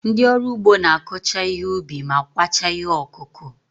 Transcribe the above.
Ndị ọrụ ugbo na-akọcha ihe ubi ma kwachaa ihe ọkụkụ.